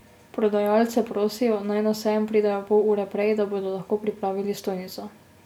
Prodajalce prosijo, naj na sejem pridejo pol ure prej, da bodo lahko pripravili stojnico.